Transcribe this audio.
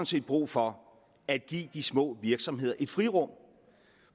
set brug for at give de små virksomheder et frirum